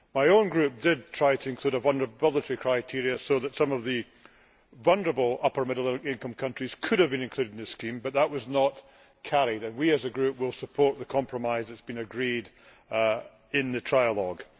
My group did try to include a vulnerability criteria so that some of the vulnerable upper middle income countries could have been included in this scheme, but that was not carried, and we as a group will support the compromise agreed in the trialogue.